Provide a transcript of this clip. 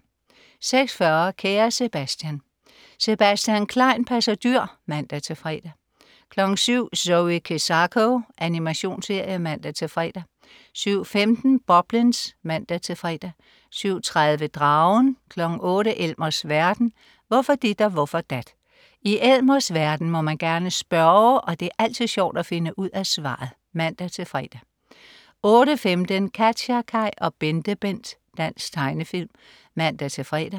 06.40 Kære Sebastian. Sebastian Klein passer dyr (man-fre) 07.00 Zoe Kezako. Animationsserie (man-fre) 07.15 Boblins (man-fre) 07.30 Dragen 08.00 Elmers verden. Hvorfor dit og hvorfor dat? I Elmers verden må man gerne spørge, og det er altid sjovt at finde ud af svaret! (man-fre) 08.15 KatjaKaj og BenteBent. Dansk tegnefilm (man-fre)